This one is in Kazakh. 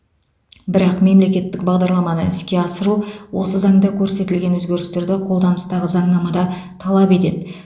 бірақ мемлекеттік бағдарламаны іске асыру осы заңда көрсетілген өзгерістерді қолданыстағы заңнамада талап етеді